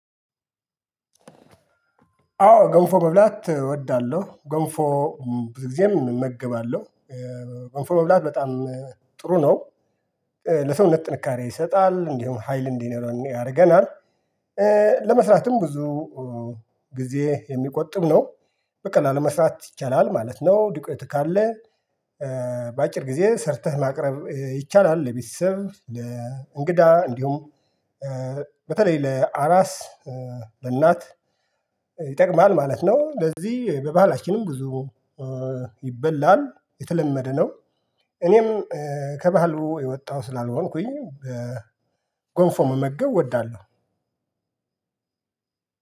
አዎ ገንፎ መብላት እወዳለሁ። ገንፎ ብዙ ጊዜም እመገባለሁ። በጎን መብላት በጣም ጥሩ ነው። ለሰውነት ጥንካሬ ይሰጣል እንዲሁም ሀይል እንዲኖረን ያደርገናል። ለመስራትም ብዙ ጊዜ የሚቆጥብ ነው። በቀላሉ መስራት ይቻላል ማለት ነው። ዱቄት ካለ። በአጭር ጊዜ ሰርተህ ማቅረብ ይቻላል ለቤተሰብ ለእንግዳ እንዲሁም። በተለይ ለአራስ ለእናት ይጠቅማል ማለት ነው። ለዚህ በባህላችንም ብዙ ይበላል የተለመደ ነው። እኔም ከባህሉ የወጣሁ ስላልሆንኩኝ ጎንፎ መመገብ እወዳለሁ።